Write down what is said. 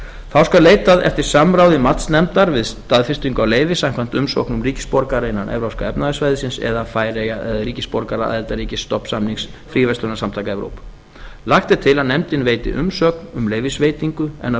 þá skal leitað eftir samráði matsnefndar við staðfestingu á leyfi samkvæmt umsóknum ríkisborgara innan evrópska efnahagssvæðisins eða færeyja eða ríkisborgara aðildarríkis stofnsamnings fríverslunarsamtaka evrópu lagt er til að nefndin veiti umsögn um leyfisveitingu en að